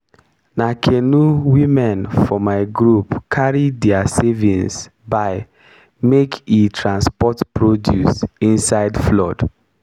na canoe women for my group carry diir savings buy make e dey transport produce inside flood.